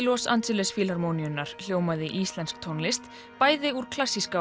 Los Angeles hljómaði íslensk tónlist bæði úr klassíska